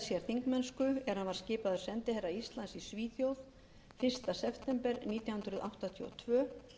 þingmennsku er hann var skipaður sendiherra íslands í svíþjóð fyrsta september nítján hundruð áttatíu og tvö